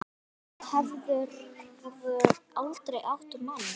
Hefurðu aldrei átt mann?